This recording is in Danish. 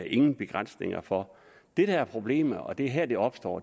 ingen begrænsninger for det der er problemet og det er her det opstår